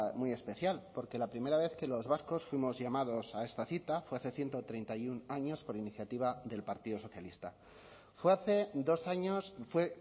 muy especial porque la primera vez que los vascos fuimos llamados a esta cita fue hace ciento treinta y uno años por iniciativa del partido socialista fue hace dos años fue